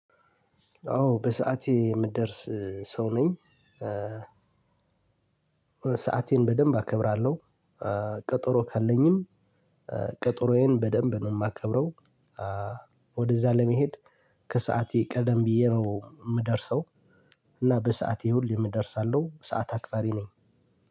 አዎ በሰአቴ የምደርስ ሰው ነኝ። ሰአቴን በደንብ አከብራለሁ። ቀጠሮ ካለኝም ቀጠሮዬን በደንብ ነው የማከብረው። ወደዛ ለመሄድ ከሰአቴ ቀደም ብዬ ነው የምደርሰው። እና በሰአቴ ሁሌም እደርሳለሁ ሰዓት አክባሪ ነኝ።